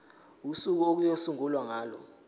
usuku okuyosungulwa ngalo